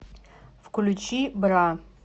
включи бра